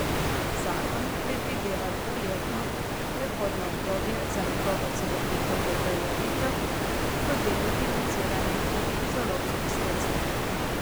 Zakon predvideva dvoletno prehodno obdobje za njegovo celovito uveljavitev, ki bo delno financirano tudi iz evropskih sredstev.